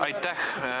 Aitäh!